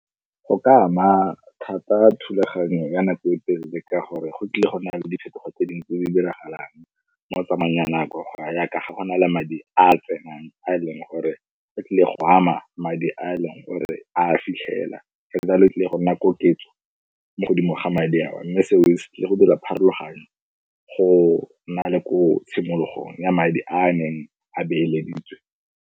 Go ka ama thata thulaganyo ya nako e telele ka gore go tlile go nna le diphetogo tse dingwe tse di diragalang mo tsamaong ya nako, go ya yaaka ga go na le madi a tsenang a e leng gore ke tlile go ama madi di a e leng gore a fitlhela. Sa ntsane go tlile go nna koketso mo godimo ga madi a o mme seo se ka go dira pharologanyo go na le ko tshimologong ya madi a a neng a beeleditse.